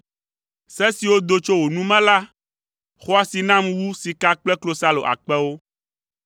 Se siwo do tso wò nu me la xɔ asi nam wu sika kple klosalo akpewo.